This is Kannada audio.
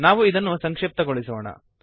ನಾವು ಇದನ್ನು ಸಂಕ್ಷಿಪ್ತಗೊಳಿಸೋಣ